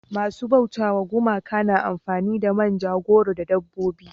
masu bauta wa gumaka na amfani da manja goro da dabbobi